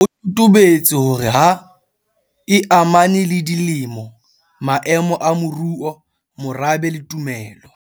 Feela ho totobetse hore ha e amane le dilemo, maemo a moruo, morabe le tumelo.